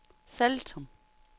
Saltum